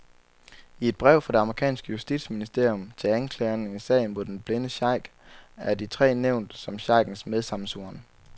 I et brev, fra det amerikanske justitsministerium til anklagerne i sagen mod den blinde sheik, er de tre nævnt som sheikens medsammensvorne.